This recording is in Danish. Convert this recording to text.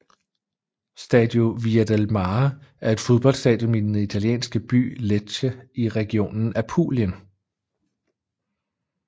Stadio Via del Mare er et fodboldstadion i den italienske by Lecce i regionen Apulien